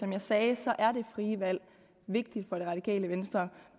jeg sagde er det frie valg vigtigt for det radikale venstre